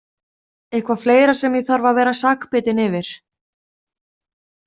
Eitthvað fleira sem ég þarf að vera sakbitin yfir?